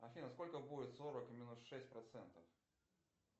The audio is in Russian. афина сколько будет сорок минус шесть процентов